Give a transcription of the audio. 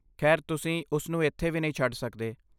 ਖੈਰ, ਤੁਸੀਂ ਉਸਨੂੰ ਇੱਥੇ ਵੀ ਨਹੀਂ ਛੱਡ ਸਕਦੇ।